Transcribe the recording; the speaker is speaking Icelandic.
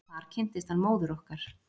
Þar kynntist hann móður okkar.